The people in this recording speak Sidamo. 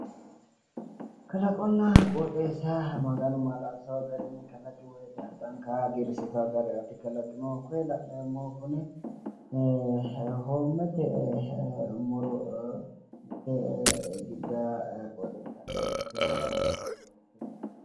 Kalaqonna qooxeessa maganu maala'lisannowo garinni kalaqi woyite addanka hagiirsiisawo gede asse kalaqino. Koye la'neemmohu kuni hoommete muro....